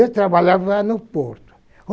trabalhava no Porto.